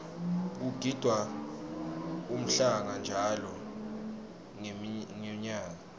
kugidvwa umhlanga njalo ngenmyaka